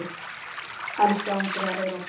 Elsku Andrea Eir okkar.